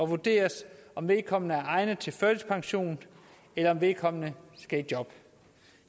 vurderes om vedkommende er egnet til førtidspension eller om vedkommende skal i job